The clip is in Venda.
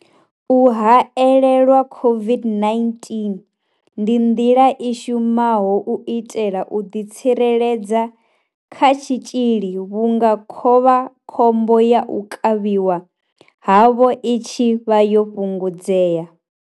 U haelelwa COVID-19 ndi nḓila i shumaho u itela u ḓitsireledza kha tshitzhili vhunga khovha khombo ya u kavhiwa havho i tshi vha yo fhungudzea.